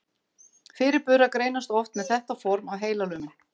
Fyrirburar greinast oft með þetta form af heilalömun.